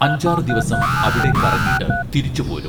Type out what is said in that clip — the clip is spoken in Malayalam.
അഞ്ചാറ് ദിവസം അവിടെ കറങ്ങീട്ട് തിരിച്ച് പോരും